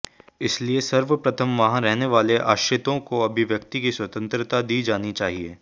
इसलिए सर्वप्रथम वहां रहने वाले आश्रितों को अभिव्यक्ति की स्वतंत्रता दी जानी चाहिए